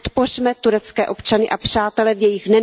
Podpořme turecké občany a přátele v jejich...